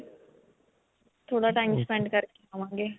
ਥੋੜਾ time spend ਕਰਕੇ ਆਵਾਂਗੇ